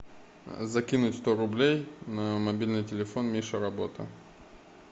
закинуть сто рублей на мобильный телефон миша работа